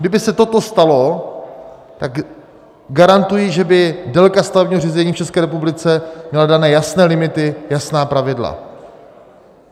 Kdyby se toto stalo, tak garantuji, že by délka stavebního řízení v České republice měla dány jasné limity, jasná pravidla.